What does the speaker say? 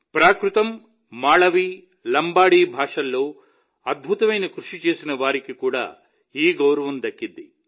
ప్రాకృతం మాళవీ లంబాడీ భాషల్లో అద్భుతమైన కృషి చేసిన వారికి కూడా ఈ గౌరవం దక్కింది